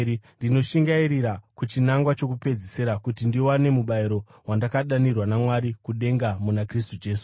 ndinoshingairira kuchinangwa chokupedzisira kuti ndiwane mubayiro wandakadanirwa naMwari kudenga muna Kristu Jesu.